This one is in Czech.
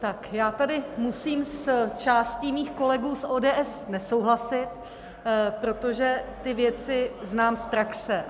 Tak, já tady musím s částí mých kolegů z ODS nesouhlasit, protože ty věci znám z praxe.